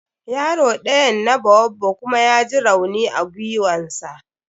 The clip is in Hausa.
Yaro ɗayan na baobab kuma ya j rauni a giwan sa.